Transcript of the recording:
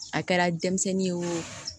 A kɛra denmisɛnnin ye o